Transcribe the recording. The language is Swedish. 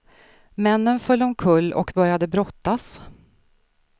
Männen föll omkull och började brottas.